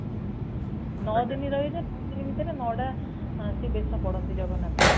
ନଅ ଦିନ ରହିବେ ନଅ ଦିନ ଭିତରେ ନଡା ସେ ବେସ କରନ୍ତି ସୁନା ବେଶ